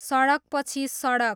सडकपछि सडक